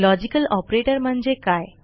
logical operator म्हणजे काय